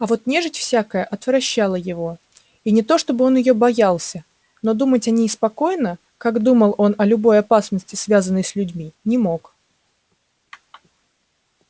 а вот нежить всякая отвращала его и не то чтобы он её боялся но думать о ней спокойно как думал он о любой опасности связанной с людьми не мог